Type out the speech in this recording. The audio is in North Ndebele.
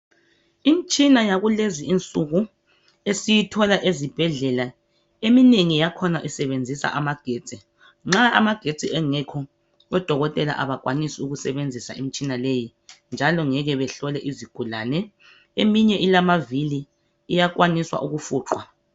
Imtshina yakulezi insuku esiyithola ezibhedlela, eminengi yakhona isebenzisa amagetsi. Nxa amagetsi engekho, odokotela abakwanisi ukusebenzisa imitshina leyi, njalo ngeke behlole izigulane. Eminye ilamavili, iyakwanisa iyafiqwa.